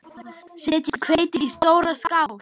Setjið hveitið í stóra skál.